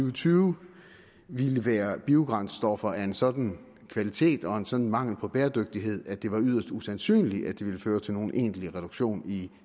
og tyve ville være biobrændstoffer være af en sådan kvalitet og med en sådan mangel på bæredygtighed at det ville være yderst usandsynligt at de ville føre til nogen egentlig reduktion i